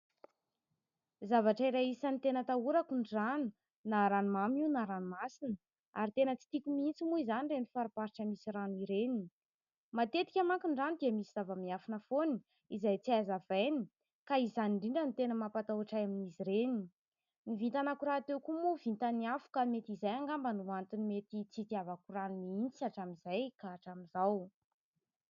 Zavatra iray isan'ny tena atahorako ny rano, na ranomamy io na ranomasina ary tena tsy tiako mihitsy moa izany ireny fariparitra misy rano ireny. Matetika manko ny rano dia misy zava-miafina foana izay tsy hay hazavaina ka izany indrindra no tena mampatahotra ahy amin'izy ireny. Ny vintanako rahateo koa moa vitan'ny afo ka mety izay angamba no antony mety tsy itiavako rano mihitsy hatramin'izay ka hatramin'izao.